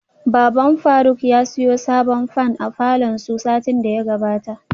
Baban faruk ya siyo sabon fan a falor su satin daya gabata